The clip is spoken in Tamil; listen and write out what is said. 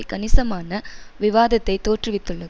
கணிசமான விவாதத்தை தோற்றுவித்துள்ளது